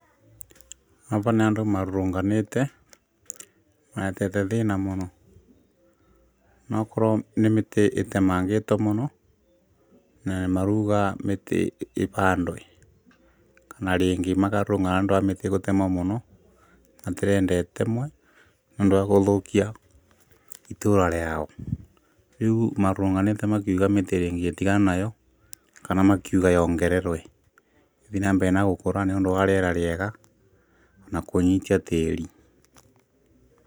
Aba nĩ andũ marũrũnganĩte maretete thĩĩna mũno no ũkorwo nĩ mĩtĩ ĩtemengĩto mũno na nĩ marũuga mĩtĩ ĩbandwe kana rĩngĩ makarũrũngana nĩ ũndũ wa mĩtĩ gũtemwa mũno matĩrenda ĩtemwe nĩ ũndũ wa gũthũkia itũra rĩao, rĩu marũrũnganĩte makiuga mĩtĩ rĩngĩ ĩtiganwo nayo kana makiuga yongererwe ithiĩ na mbere na gũkũra nĩũndũ wa rĩera rĩega na kũnyitia tĩĩri.